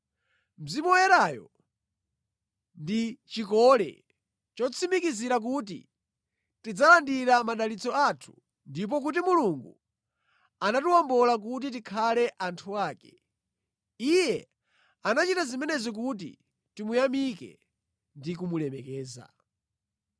Mzimu Woyerayo ndi chikole chotsimikizira kuti tidzalandira madalitso athu, ndipo kuti Mulungu anatiwombola kuti tikhale anthu ake. Iye anachita zimenezi kuti timuyamike ndi kumulemekeza.